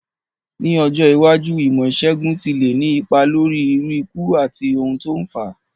Ní ọjọ́ iwájú, ìmó ìsègùn ti le ni ipa lórí irú ikú àti oun to n fáa